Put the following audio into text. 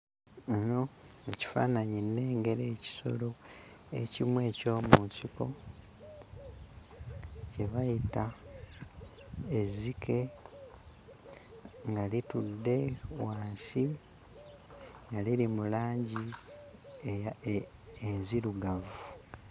Muno mu kifaananyi nnengera ekisolo ekimu eky'omu nsiko kye bayita ezzike nga litudde wansi, nga liri mu langi eya enzirugavu.